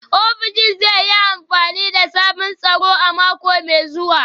Ofishin zai yi amfani da sabbin tsaro a mako mai zuwa